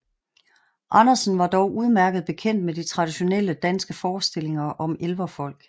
Andersen var dog udmærket bekendt med de traditionelle danske forestillinger om elverfolk